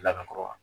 Lakakɔ wa